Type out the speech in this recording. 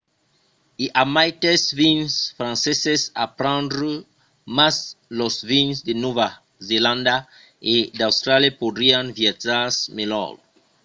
i a maites vins franceses a prendre mas los vins de nòva zelanda e d'austràlia podrián viatjar melhor